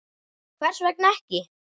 Hvers vegna ekki?